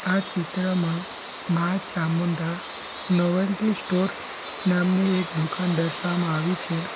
આ ચિત્રમાં માઁ ચામુંડા નોવેલ્ટી સ્ટોર નામની એક દુકાન દર્શાવવામાં આવી છે.